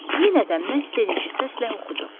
Yenə də məstedici səslə oxudu.